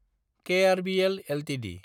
KRBL Ltd